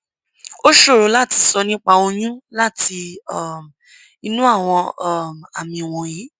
ó ṣòro láti sọ nípa oyún láti um inú àwọn um àmì wọnyí